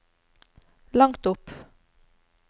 langt opp